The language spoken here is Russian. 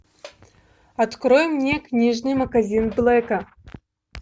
открой мне книжный магазин блэка